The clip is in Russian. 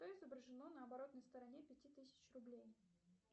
что изображено на оборотной стороне пяти тысяч рублей